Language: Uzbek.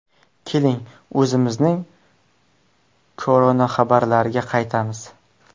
Keling, o‘zimizning koronaxabarlarga qaytamiz.